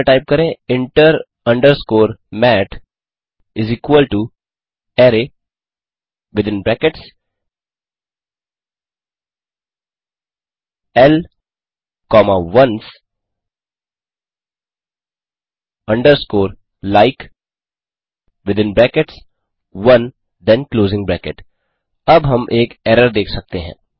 terminal में type करें inter underscore mat array within brackets l comma ones underscore like within brackets one then closing bracket अब हम एक error देख सकते हैं